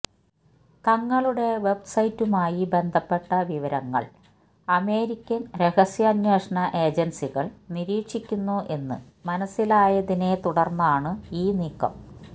തങ്ങളുടെ വെബ് സൈറ്റുമായി ബന്ധപ്പെട്ട വിവരങ്ങള് അമേരിക്കന് രഹസ്യാന്വേഷണ ഏജന്സികള് നിരീക്ഷിക്കുന്നു എന്ന് മനസിലായതിനെ തുടര്ന്നാണ് ഈ നീക്കം